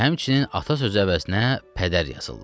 Və həmçinin ata söz əvəzinə padər yazırlar.